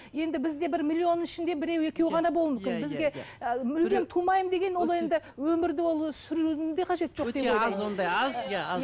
енді бізде бір миллионның ішінде біреу екеу ғана болуы мүмкін бізге ы мүлдем тумаймын деген ол енді өмірді ол сүрудің де қажеті жоқ өте аз ондай аз иә аз